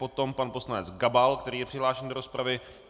Potom pan poslanec Gabal, který je přihlášen do rozpravy.